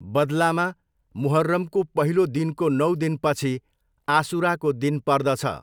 बदलामा, मुहर्रमको पहिलो दिनको नौ दिनपछि आसुराको दिन पर्दछ।